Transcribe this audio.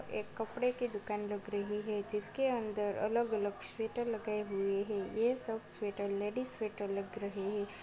एक कपड़े की दुकान लग रही है जिसके अंदर अलग-अलग स्वेटर लगाए हुए है ये सब स्वेटर लेडिज स्वेटर लग रहे है।